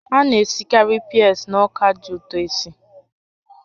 A na-esikarị peas na ọka dị ụtọ esi